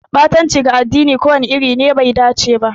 Ɓatanci ga addini ko wani iri ne bai dace ba.